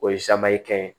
O ye kɛn ye